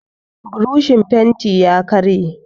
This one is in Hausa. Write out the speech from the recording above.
burishin fenti ya karye